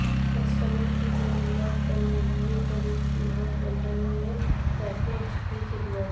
customer کی ضروریات پر مبنی پری قیمت بنڈل میں پیکج کی خدمات